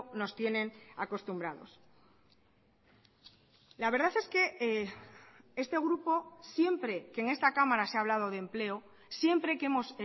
nos tienen acostumbrados la verdad es que este grupo siempre que en esta cámara se ha hablado de empleo siempre que hemos